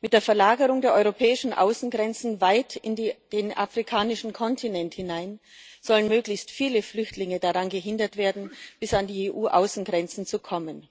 Mit der Verlagerung der europäischen Außengrenzen weit in den afrikanischen Kontinent hinein sollen möglichst viele Flüchtlinge daran gehindert werden, bis an die EU Außengrenzen zu kommen.